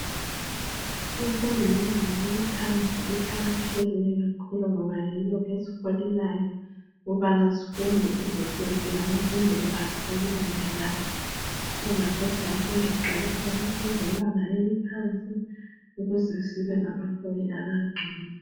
Imfundo yebanga eliphansi iqakathekile kakhulu ngoba yiyo esiholelayo ukubana sifunde size siyefika kubanga elilandelayo. So ngapha siyafunda siqalisela kumfundo yebanga eliphansi ukuze sibe ngabaholi abangcono.